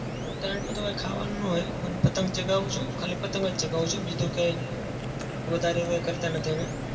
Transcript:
ઉતરાયણમાં તો કંઈ ખાવાનું ના હોય પણ પતંગ ચગાવું છું ખાલી. પતંગ જ ચગાવું. બીજું કઈ વધારે કઈ કરતા નથી અમે.